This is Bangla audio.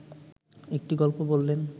একটি গল্প বললেন